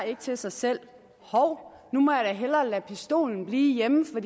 til sig selv hov nu må jeg da hellere lade pistolen blive hjemme for